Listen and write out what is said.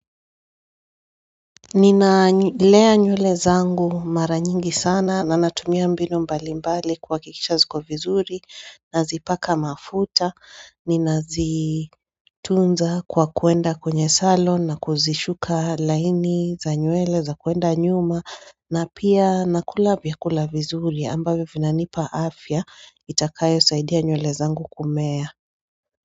Nina lea nywele zangu mara nyingi sana na natumia mbinu mbali mbali kuwa kikisha ziko vizuri na zipaka mafuta Nina zitunza kwa kuenda kwenye salon na kuzisuka laini za nywele za kwenda nyuma na pia nakula vya kula vizuri ambavyo vinanipa afya itakayo saidia nywele zangu kumea.